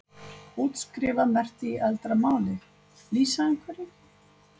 Útskrifa merkti í eldra máli?lýsa einhverju?